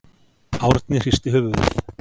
Árni hristi höfuðið.